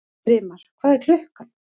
Brimar, hvað er klukkan?